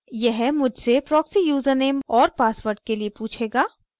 यह मुझसे proxy username और password के लिए पूछेगा